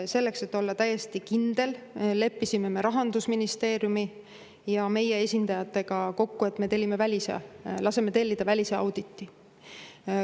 Selleks et olla täiesti kindel, leppisime Rahandusministeeriumi ja meie esindajatega kokku, et me laseme tellida välisauditi.